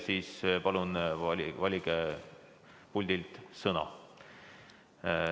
Siis palun valige puldilt "Sõna".